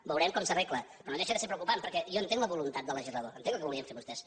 veurem com s’arregla però no deixa de ser preocupant perquè jo entenc la voluntat del legislador entenc el que volien fer vostès